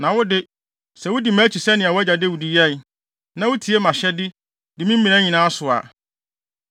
“Na wo de, sɛ wudi mʼakyi sɛnea wʼagya Dawid yɛe, na wutie mʼahyɛde, di me mmara nyinaa so a,